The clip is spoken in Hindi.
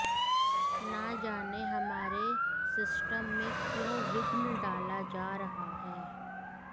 न जाने हमारे सिस्टम में क्यों विघ्न डाला जा रहा है